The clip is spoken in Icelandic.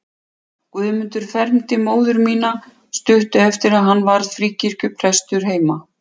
Guðmundur fermdi móður mína stuttu eftir að hann varð fríkirkjuprestur heima.